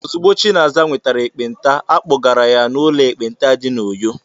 Ozugbo Chinaza nwetara ekpenta, a kpọgara ya n'ụlọ ekpenta dị na Uyo.